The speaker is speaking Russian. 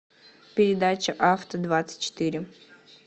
передача авто двадцать четыре